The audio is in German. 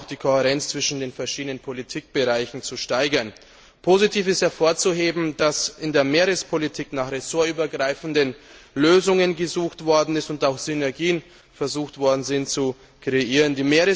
auch die Kohärenz zwischen den verschiedenen Politikbereichen zu steigern. Positiv ist hervorzuheben, dass in der Meerespolitik nach ressortübergreifenden Lösungen gesucht worden ist und auch versucht wurde, Synergien zu kreieren.